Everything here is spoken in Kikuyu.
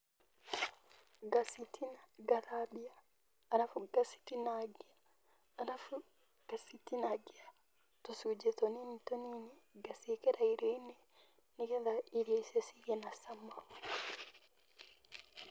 Ngathambia, alafu ngacitinangia, alafu ngacitinangia tũcunjĩ tũnini tũnini, ngaciĩkĩra irioinĩ nĩgetha irio icio igĩe na cama.